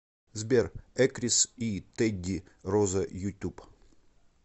сбер экрис и тедди роза ютуб